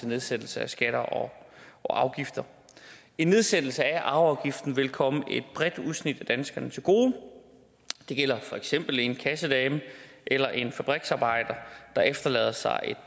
nedsættelse af skatter og afgifter en nedsættelse af arveafgiften vil komme et bredt udsnit af danskerne til gode det gælder for eksempel en kassedame eller en fabriksarbejder der efterlader sig et